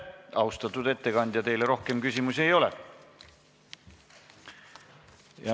Austatud ettekandja, teile rohkem küsimusi ei ole.